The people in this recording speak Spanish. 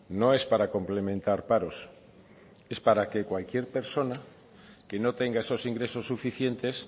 no es para complementar paros es para que cualquier persona que no tenga esos ingresos suficientes